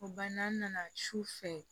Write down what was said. O bann'an nana su fɛ